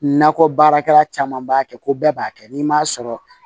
Nakɔ baarakɛla caman b'a kɛ ko bɛɛ b'a kɛ n'i m'a sɔrɔ